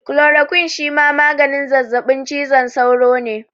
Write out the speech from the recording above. Kulorokwin shima maganin zazzaɓin cizon sauro ne